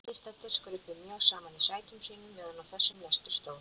Viðstaddir skruppu mjög saman í sætum sínum meðan á þessum lestri stóð.